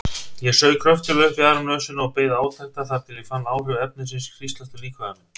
Ég saug kröftuglega upp í aðra nösina og beið átekta þar til ég fann áhrif efnisins hríslast um líkama minn.